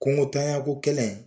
Kungotanya ko kɛlɛ